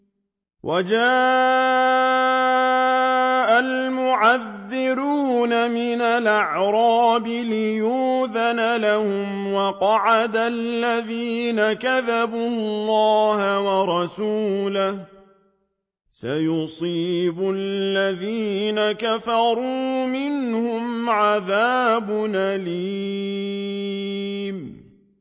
وَجَاءَ الْمُعَذِّرُونَ مِنَ الْأَعْرَابِ لِيُؤْذَنَ لَهُمْ وَقَعَدَ الَّذِينَ كَذَبُوا اللَّهَ وَرَسُولَهُ ۚ سَيُصِيبُ الَّذِينَ كَفَرُوا مِنْهُمْ عَذَابٌ أَلِيمٌ